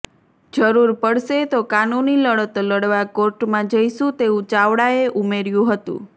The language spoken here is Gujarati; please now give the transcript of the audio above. જરૂર પડશે તો કાનૂની લડત લડવા કોર્ટમાં જઈશુ તેવું ચાવડાએ ઉમેર્યું હતું